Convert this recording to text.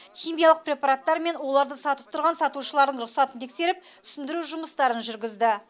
химиялық препараттар мен уларды сатып тұрған сатушылардың рұқсатын тексеріп түсіндіру жұмыстарын жүргізді